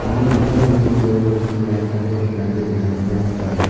uno dingtang dingtang rongrangchi light-rangko teng·ate donakoba nika.